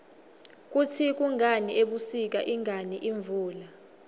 kutsi kungani ebusika ingani imvula